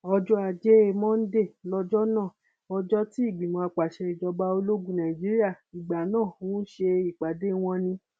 ọjọ ajé monde lọjọ náà ọjọ tí ìgbìmọ àpasẹ ìjọba ológun nàìjíríà ìgbà náà ń ṣe ìpàdé wọn ni